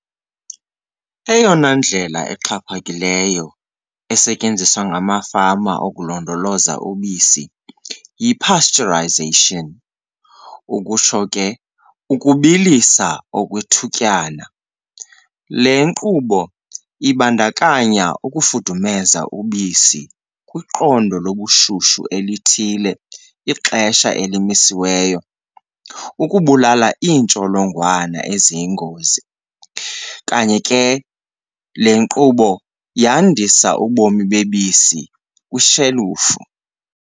Eyona ndlela exhaphakileyo esetyenziswa ngamafama ukulondoloza ubisi yi-pasteurisation, ukutsho ke ukubilisa okwethutyana. Le nkqubo ibandakanya ukufudumeza ubisi kwiqondo lobushushu elithile ixesha elimisiweyo ukubulala intsholongwane eziyingozi. Kanye ke le nkqubo yandisa ubomi bebisi kwishelufu.